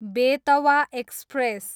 Betwa express